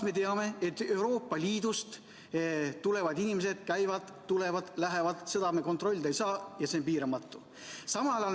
Me teame, et Euroopa Liidust tulevad inimesed, käivad, tulevad, lähevad, seda me kontrollida ei saa ja see on piiramatu.